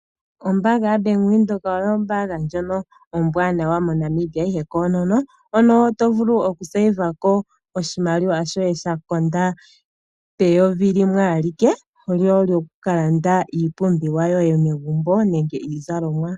Ombaanga yaBank Windhoek oyo ombaanga ndjono ombwaanawa moNamibia ihe koonono. Hono tovulu okupungulako oshimaliwa shoye shakonda peyovi limwe alike , lyokukalanda iipumbiwa yoye megumbo nenge iikulya.